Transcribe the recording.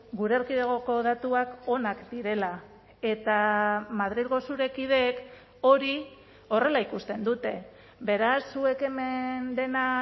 gure erkidegoko datuak onak direla eta madrilgo zure kideek hori horrela ikusten dute beraz zuek hemen dena